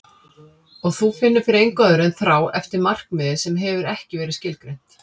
Og þú finnur fyrir engu öðru en þrá eftir markmiði sem hefur ekki verið skilgreint.